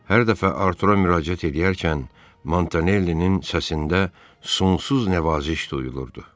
Hər dəfə Artura müraciət edərkən Montanellinin səsində sonsuz nəvaziş duyulurdu.